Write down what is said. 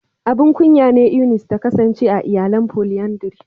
Abun kunya ne Eunice ta kasance a iyalan "Polyandry".